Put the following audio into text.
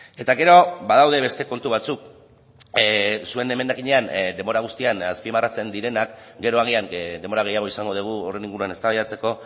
eta gero badaude beste kontu batzuk zuen emendakinean denbora guztian azpimarratzen direnak gero agian denbora gehiago izango dugu horren inguruan eztabaidatzeko